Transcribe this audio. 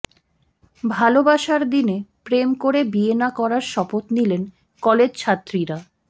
ভালবাসার দিনে প্রেম করে বিয়ে না করার শপথ নিলেন কলেজ ছাত্রীরা